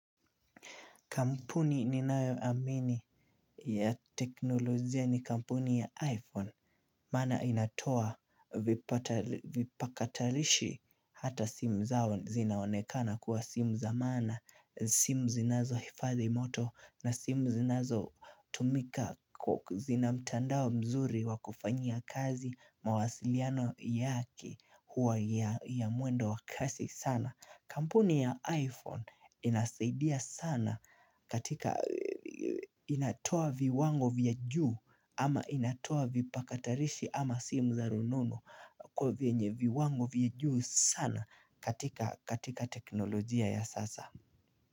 Kampuni ninayoamini ya teknolojia ni kampuni ya iPhone Maana inatoa vipakatalishi hata simu zao zinaonekana kuwa simu za maana simu zinazo hifadhi moto na simu zinazotumika zina mtandao mzuri wa kufanyia kazi mawasiliano yake huwa ya mwendo wa kasi sana Kampuni ya iPhone inasaidia sana katika inatoa viwango vya juu ama inatoa vipakatalishi ama simu za runono kwenye viwango vya juu sana katika teknolojia ya sasa.